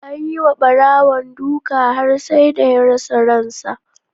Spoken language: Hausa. Anyi ma Barawon duka har sai da ya rasa ransa.